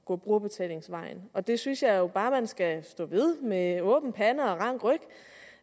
gå brugerbetalingsvejen og der synes jeg jo bare man skal stå ved med åben pande og rank ryg